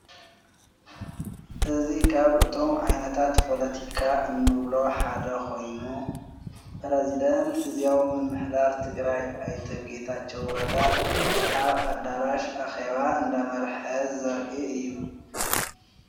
እዝ ኻብ እቶም ኣይነታት ጶሎቲካ እኖብሎ ሓደ ኾይኑ ጵረዝደንት ጊዜያው ምምሕዳር ትግራይ ኣይተ ጌታቸው ረዳ ዓብ ኣዳራሽ ኣኼዋ እንደ መርሐ ዘርኢ እዩ።